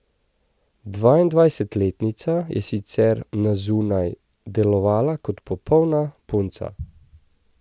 Dvaindvajsetletnica je sicer na zunaj delovala kot popolna punca.